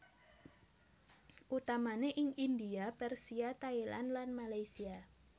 Utamane ing India Persia Thailand lan Malaysia